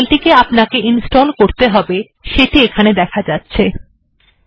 যে ফাইলটি আপনাকে ইনস্টল করতে হবে এখানে সেই ফাইলটি দেখা যাচ্ছে